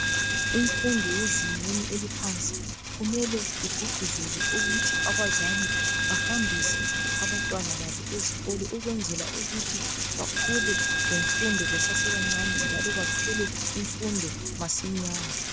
Imfundo yezingeni eliphansi kumele igqugquzelwe ukuthi abazali bahambise abantwana babo ezikolo ukwenzela ukuthi bakhule lemfundo besesebancane njalo bathole imfundo masinyane.